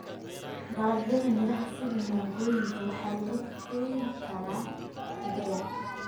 Dalagyada miraha sida mangooyinka waxaa lagu kaydin karaa muddo dheer.